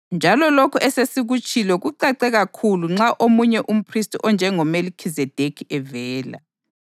Njalo lokhu esesikutshilo kucace kakhulu nxa omunye umphristi onjengoMelikhizedekhi evela,